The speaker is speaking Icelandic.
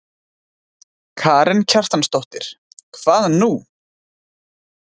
Karen Kjartansdóttir: Hvað nú?